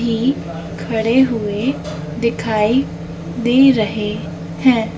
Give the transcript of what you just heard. भी खडे हुए दिखाई दे रहे हैं।